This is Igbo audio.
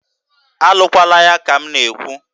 A lụkwalaya ka m na-ekwu!